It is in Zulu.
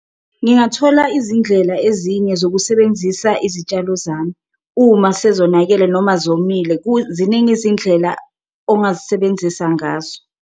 Ngingathola izindlela ezinye zokusebenzisa izitshalo zami uma sezonakele noma zomile, ziningi izindlela ongazisebenzisa ngazo.